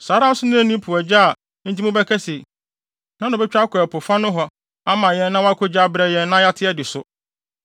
Saa ara nso na enni po agya a enti mobɛka se, “Hena na obetwa akɔ ɛpo fa nohɔ ama yɛn na wakogye abrɛ yɛn, na yɛate adi so?”